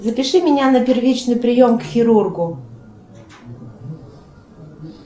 запиши меня на первичный прием к хирургу